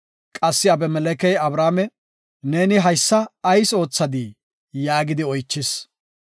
Qassi Abimelekey Abrahaame, “Neeni haysa ayis oothadii?” yaagidi oychis.